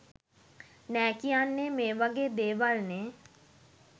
නෑ කියන්නෙ මේ වගේ දේවල් නේ.